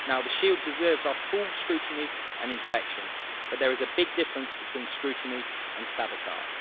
The Shield deserves our full scrutiny and inspection, but there is a big difference between scrutiny and sabotage.